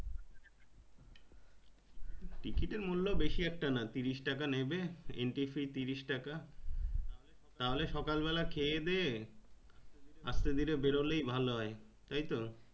ticket এর মূল্য বেশি একটা না তিরিশ টাকা নেবে entry fee তিরিশ টাকা তাহলে সকল বেলা খেয়ে দিয়ে আস্তে ধীরে বেরোলেই ভালো হয়।